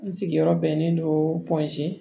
N sigiyɔrɔ bɛnnen don